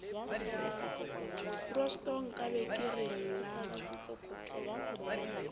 kgosto nkabe ke re llang